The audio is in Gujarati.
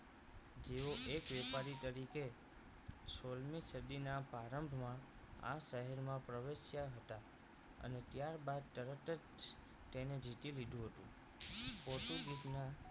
જેઓ એક વેપારી તરીકે સોળ મી સદીના પ્રારંભમાં આ શહેરમાં પ્રવેશ્યા હતા અને ત્યારબાદ તરત જ તેને જીતી લીધું હતું પોર્ટુગીઝ ના